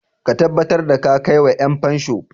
Ka tabbatar da ka kai wa 'yanfansho!